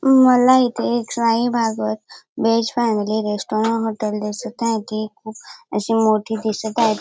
मला इथे एक शाही व्हेज फॅमिली रेस्टॉरंट हॉटेल दिसत आहे ते खूप असे मोठे दिसत आहेत.